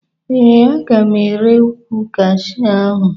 Ee, aga m ere ukwu Kashu ahụ.